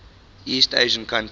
east asian countries